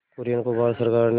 कुरियन को भारत सरकार ने